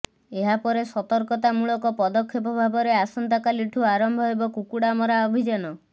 ଏହାପରେ ସତର୍କତାମୂଳକ ପଦକ୍ଷେପ ଭାବରେ ଆସନ୍ତାକାଲିଠୁ ଆରମ୍ଭ ହେବ କୁକୁଡା ମରା ଅଭିଯାନ